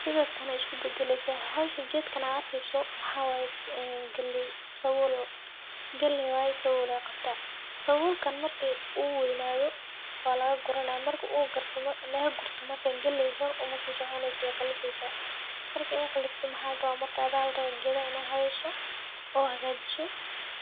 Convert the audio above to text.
Sidatan ay iskubadaleysa, xowshaan qeedkan aad arkeyso, maxawaye galeey, sabuul galeey waye sabuul ayay qabta, sabulkan marki uu weynado, walagaguranaya, marki u lagagurto, galeey hor umasisoconeyso, way qalifeysa, marki lagagurto maxa larawa adha larawaa qedaxa ina haweyso oo hagajiso,